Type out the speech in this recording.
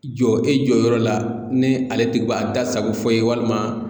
Jɔ e jɔyɔrɔ la ni ale ti ka da sago fɔ ye walima